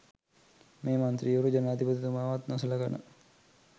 මේ මන්ත්‍රීවරු ජනාධිපතිතුමාවත් නොසලකන